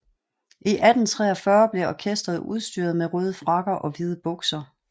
I 1843 blev orkesteret udstyret med en røde frakker og hvide bukser